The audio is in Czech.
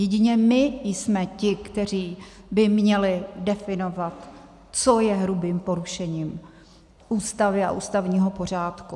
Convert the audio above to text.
Jedině my jsme ti, kteří by měli definovat, co je hrubým porušením Ústavy a ústavního pořádku.